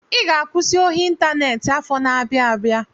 I ga-akwụsị ohi ịntaneti afọ na-abia abịa.